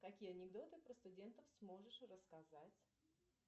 какие анекдоты про студентов сможешь рассказать